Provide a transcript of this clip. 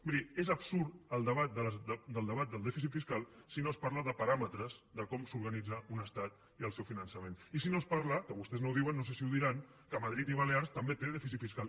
miri és absurd el debat del dèficit fiscal si no es parla de paràmetres de com s’organitza un estat i el seu fi·nançament i si no es diu que vostès no ho diuen no sé si ho diran que madrid i balears també tenen dèfi·cit fiscal